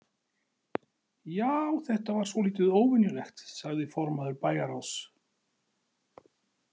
Já, þetta var svolítið óvenjulegt, sagði formaður bæjarráðs.